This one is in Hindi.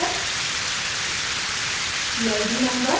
cas number